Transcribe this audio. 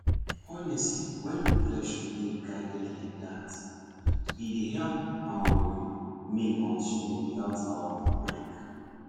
honestly wen reflection dey guided like that e dey help um me continue without um break